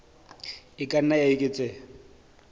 e ka nna ya eketseha